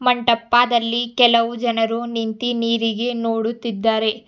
One ಟಪ್ಪದಲ್ಲಿ ಕೆಲವು ಜನರು ನಿಂತಿ ನೀರಿಗೆ ನೋಡುತ್ತಿದ್ದಾರೆ.